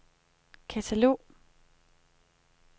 katalog